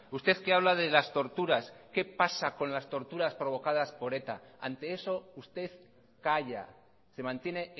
usted que habla de las torturas qué pasa con las torturas provocadas por eta ante eso usted calla se mantiene